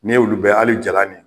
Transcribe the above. N ye olu bɛ hali jalan nin